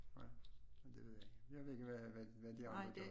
Nej men det ved jeg ikke jeg ved ikke hvad hvad de andre gør